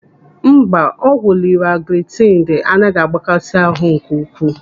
Mba, ọgwụ liraglutaidi anaghị agbakasi ahụ nke ukwuu.